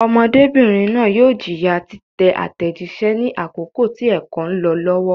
Ọmọdébìnrin náà yóò jìyà títẹ àtẹ̀jíṣẹ́ ní àkókò tí ẹ̀kọ́ ń lọ lọ́wọ́.